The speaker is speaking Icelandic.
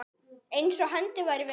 Eins og hendi væri veifað.